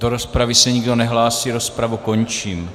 Do rozpravy se nikdo nehlásí, rozpravu končím.